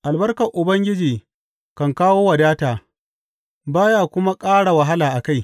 Albarkar Ubangiji kan kawo wadata, ba ya kuma ƙara wahala a kai.